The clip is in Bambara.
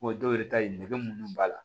dɔw yɛrɛ ta ye nɛgɛ munnu b'a la